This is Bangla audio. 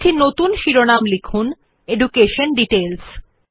একটি নতুন শিরোনাম লিখুন এডুকেশন ডিটেইলস